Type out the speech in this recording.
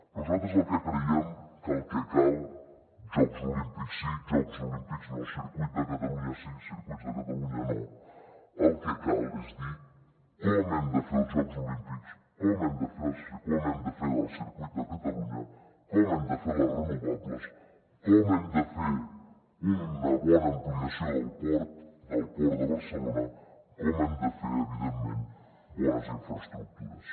nosaltres el que creiem és que el que cal jocs olímpics sí jocs olímpics no circuit de catalunya sí circuit de catalunya no és dir com hem de fer els jocs olímpics com hem de fer el circuit de catalunya com hem de fer les renovables com hem de fer una bona ampliació del port del port de barcelona com hem de fer evidentment bones infraestructures